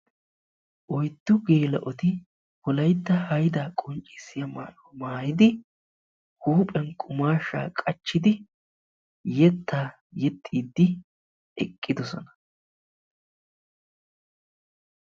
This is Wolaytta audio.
oyddu geela"otti wolaytta wogaa maayuwaa maayidi ziiriyani eqidi yetta yexxidi beettosona.